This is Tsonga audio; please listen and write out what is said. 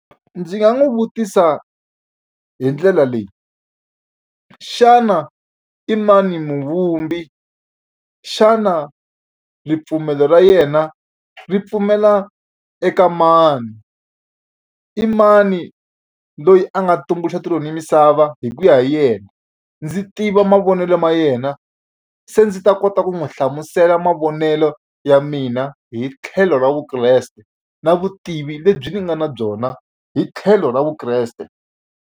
Ndzi nga n'wi vutisa hi ndlela leyi xana i mani muvumbi xana ripfumelo ra yena ri pfumela eka mani i mani loyi a nga tumbuluxa tilo ni ya misava hi ku ya hi yena ndzi tiva mavonelo ma yena se ndzi ta kota ku n'wi hlamusela mavonelo ya mina hi tlhelo ra vukreste na vutivi lebyi ni nga na byona hi tlhelo ra vukreste.